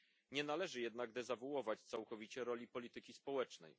Nie należy jednak dezawuować całkowicie roli polityki społecznej.